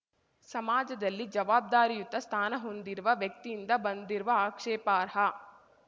ಸಮಾಜದಲ್ಲಿ ಜವಾಬ್ದಾರಿಯುತ ಸ್ಥಾನ ಹೊಂದಿರುವ ವ್ಯಕ್ತಿಯಿಂದ ಬಂದಿರುವ ಆಕ್ಷೇಪಾರ್ಹ